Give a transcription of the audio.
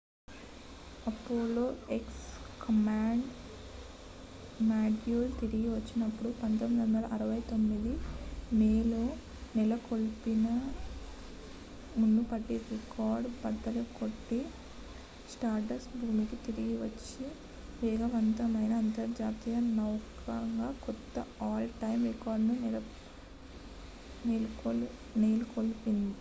Apollo X command module తిరిగి వచ్చినప్పుడు 1969 మేలో నెలకొల్పిన మునుపటి రికార్డును బద్దలు కొట్టి స్టార్డస్ట్ భూమికి తిరిగి వచ్చిన వేగవంతమైన అంతరిక్ష నౌకగా కొత్త ఆల్-టైమ్ రికార్డ్ను నెలకొల్పుతుంది